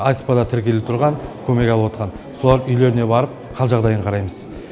асп да тіркеліп тұрған көмек алып отырған солар үйіне барып қал жағдайын қараймыз